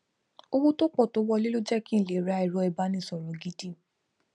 owó tó pọ tó wọlé ló jẹ kí lè ra ẹrọ ibánisọrọ gidi